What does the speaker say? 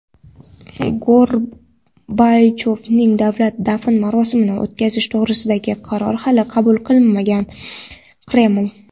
Gorbachyovning davlat dafn marosimini o‘tkazish to‘g‘risida qaror hali qabul qilinmagan – Kreml.